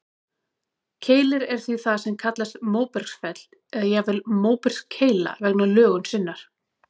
Keilir er því það sem kallast móbergsfell, eða jafnvel móbergskeila vegna lögunar sinnar.